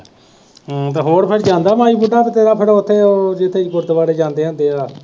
ਅਤੇ ਹੋਰ ਫੇਰ ਜਾਂਦਾ ਜਾਂ ਫੇਰ ਉੱਥੇ ਉਹ ਜਿੱਥੇ ਗੁਰਦੁਆਰੇ ਜਾਂਦੇ ਹੁੰਦੇ ਹੈ,